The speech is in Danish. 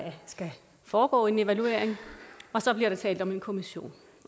skal foregå en evaluering og så bliver der talt om en kommission